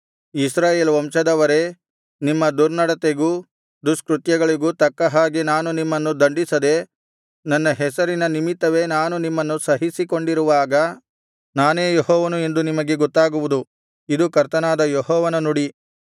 ಇಸ್ರಾಯೇಲ್ ವಂಶದವರೇ ನಿಮ್ಮ ದುರ್ನಡತೆಗೂ ದುಷ್ಕೃತ್ಯಗಳಿಗೂ ತಕ್ಕ ಹಾಗೆ ನಾನು ನಿಮ್ಮನ್ನು ದಂಡಿಸದೆ ನನ್ನ ಹೆಸರಿನ ನಿಮಿತ್ತವೇ ನಾನು ನಿಮ್ಮನ್ನು ಸಹಿಸಿಕೊಂಡಿರುವಾಗ ನಾನೇ ಯೆಹೋವನು ಎಂದು ನಿಮಗೆ ಗೊತ್ತಾಗುವುದು ಇದು ಕರ್ತನಾದ ಯೆಹೋವನ ನುಡಿ